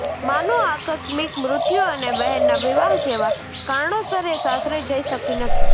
માનું આકસ્મિક મૃત્યુ અને બહેનના વિવાહ જેવા કારણોસર એ સાસરે જઇ શકી નથી